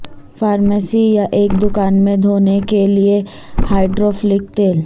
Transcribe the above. pharmacy یا ایک دکان میں دھونے کے لئے ہائیڈروفیلک تیل